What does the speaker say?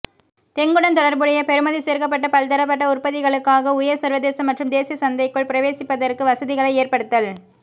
தெங்குடன் தொடர்புடைய பெறுமதி சேர்க்கப்பட்ட பல்தரப்பட்ட உற்பத்திகளுக்காக உயர் சர்வதேச மற்றும் தேசிய சந்தைக்குள் பிரவேசிப்பதற்கு வசதிகளை ஏற்படுத்தல்